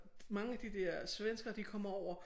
Mange af de der svenskere de kommer over